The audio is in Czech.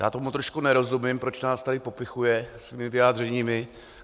Já tomu trošku nerozumím, proč nás tady popichuje svými vyjádřeními.